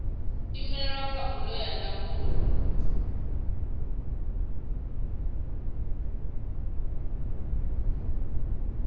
imelelwa kha bodo ya ndangulo